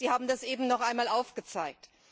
Sie haben das eben noch einmal aufgezeigt.